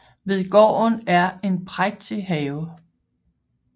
Ved gården er en prægtig have